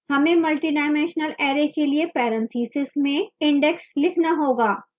हमें multidimensional array के लिए parentheses में index लिखना होगा